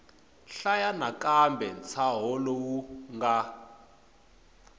hlaya nakambe ntshaho lowu nga